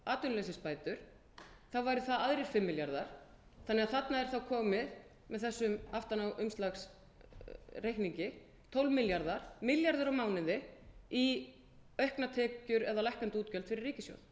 atvinnuleysisbætur þá væru það aðrir fimm milljarðar þannig að þarna er þá komið með þessum aftanáumslagsreikningi tólf milljarðar milljarður á mánuði í auknar tekjur eða lækkandi útgjöld fyrir ríkissjóð